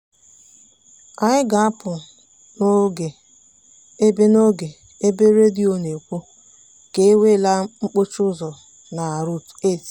anyị ga-apụ n'oge ebe n'oge ebe redio na-ekwu na e nweela mkpọchi ụzọ na route 8.